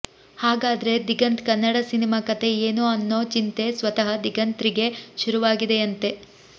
ಹಾಗಾದ್ರೆ ದಿಗಂತ್ ಕನ್ನಡ ಸಿನಿಮಾ ಕಥೆ ಏನು ಅನ್ನೋ ಚಿಂತೆ ಸ್ವತಃ ದಿಗಂತ್ ರಿಗೇ ಶುರುವಾಗಿದೆಯಂತೆ